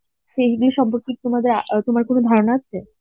সেই বিষয় আর তোমার কোন ধারণা আছে?